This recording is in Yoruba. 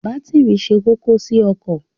Bátìrì ṣe kókó sí ọkọ̀.